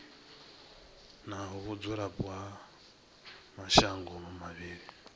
na vhudzulapo ha mashango mavhili